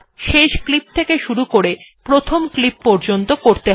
শেষ ক্লিপ থেকে শুরু করে প্রথম ক্লিপ পর্যন্ত করতে হবে